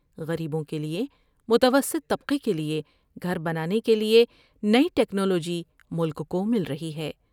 غریبوں کے لئے ، متوسط طبقے کے لئے گھر بنانے کے لئے نئی ٹیکنالوجی ملک کومل رہی ہے ۔